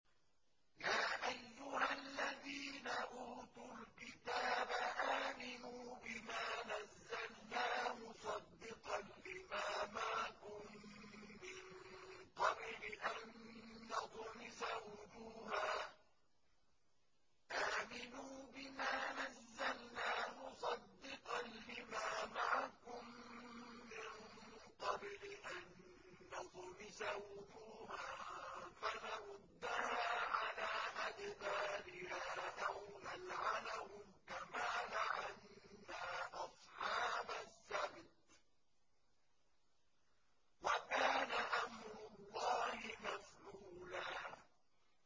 يَا أَيُّهَا الَّذِينَ أُوتُوا الْكِتَابَ آمِنُوا بِمَا نَزَّلْنَا مُصَدِّقًا لِّمَا مَعَكُم مِّن قَبْلِ أَن نَّطْمِسَ وُجُوهًا فَنَرُدَّهَا عَلَىٰ أَدْبَارِهَا أَوْ نَلْعَنَهُمْ كَمَا لَعَنَّا أَصْحَابَ السَّبْتِ ۚ وَكَانَ أَمْرُ اللَّهِ مَفْعُولًا